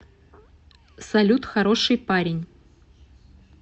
салют хороший парень